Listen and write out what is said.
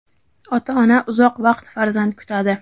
Ota-ona uzoq vaqt farzand kutadi.